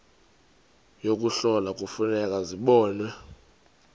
yokuhlola kufuneka zibonwe